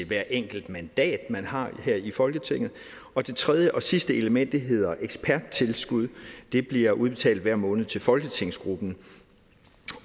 hvert enkelt mandat man har her i folketinget og det tredje og sidste element hedder eksperttilskud det bliver udbetalt hver måned til folketingsgruppen